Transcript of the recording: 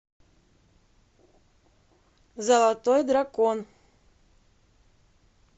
золотой дракон